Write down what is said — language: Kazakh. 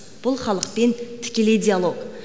бұл халықпен тікелей диалог